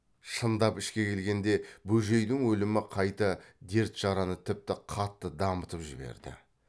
шындап ішке келгенде бөжейдің өлімі қайта дерт жараны тіпті қатты дамытып жіберді